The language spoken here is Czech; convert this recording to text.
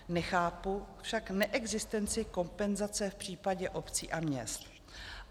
Nechápu však neexistenci kompenzace v případě obcí a měst.